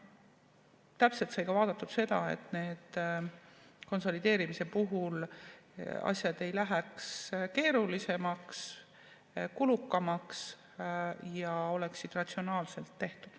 Täpselt sai vaadatud ka seda, et konsolideerimise puhul asjad ei läheks keerulisemaks, kulukamaks ja oleksid ratsionaalselt tehtud.